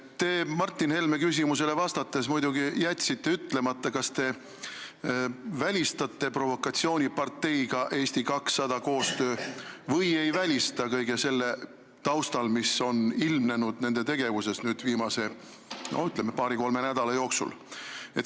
Te jätsite Martin Helme küsimusele vastates muidugi ütlemata, kas te välistate koostöö provokatsiooniparteiga Eesti 200 või ei välista, seda kõige selle taustal, mis on ilmnenud nende tegevuses viimase paari-kolme nädala jooksul.